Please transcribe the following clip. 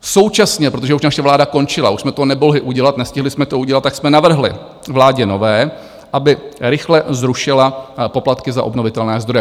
Současně, protože už naše vláda končila, už jsme to nemohli udělat, nestihli jsme to udělat, tak jsme navrhli vládě nové, aby rychle zrušila poplatky za obnovitelné zdroje.